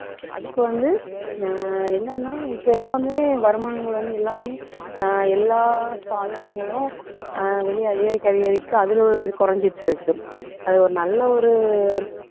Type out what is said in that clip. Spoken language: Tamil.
அதுக்கு வந்து அஹ் என்னன்னா இப்ப எல்லாமே வருமானங்கள் வந்து எல்லாமே அஹ் எல்லா சாதனங்களும் அஹ் வெளிய அதிகரிக்க அதிகரிக்க அதுல உள்ள இது குறைஞ்சிட்டிருக்கு அது ஒரு நல்ல ஒரு